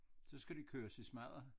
Så skal det køres i smadder